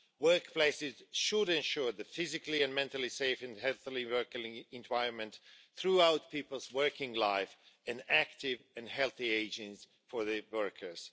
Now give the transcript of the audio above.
Workplaces should ensure a physically and mentally safe and healthy working environment throughout people's working life, and active and healthy ageing for workers.